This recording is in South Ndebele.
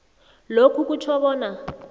lokhu kutjho bona